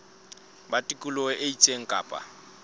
ba tikoloho e itseng kapa